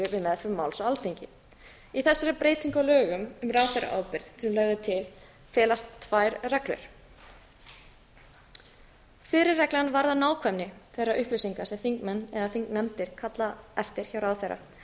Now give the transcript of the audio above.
meðferð máls á alþingi í þessari breytingu á lögum um ráðherraábyrgð sem lögð er til felast tvær reglur fyrri reglan varðar nákvæmni þeirra upplýsinga sem þingnefnd eða nefndir kalla eftir hjá ráðherra